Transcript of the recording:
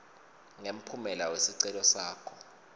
ngemphumela wesicelo sakho